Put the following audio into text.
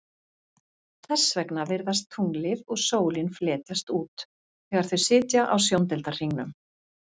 Þess vegna virðast tunglið og sólin fletjast út þegar þau sitja á sjóndeildarhringnum.